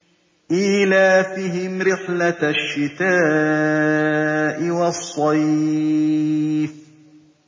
إِيلَافِهِمْ رِحْلَةَ الشِّتَاءِ وَالصَّيْفِ